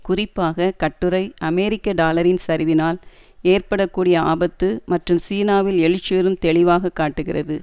குறிப்பாக கட்டுரை அமெரிக்க டாலரின் சரிவினால் ஏற்பட கூடிய ஆபத்து மற்றும் சீனாவில் எழுச்சியுறும் தெளிவாக காட்டுகிறது